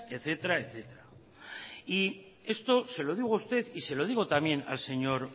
etcétera y esto se lo digo a usted y se lo digo también al señor